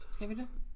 Skal vi det